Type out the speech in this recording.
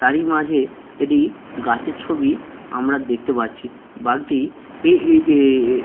তারি মাঝে একটি গাছের ছবি আমরা দেখতে পাচ্ছি। বাঘটি এ-এ-এ-এ-এ--